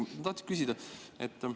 Ma tahtsin küsida selle kohta.